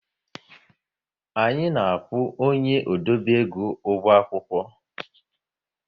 Anyị na-akwụ onye odobe ego ụgwọ akwụkwọ